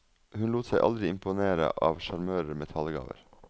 Hun lot seg aldri imponere av sjarmører med talegaver.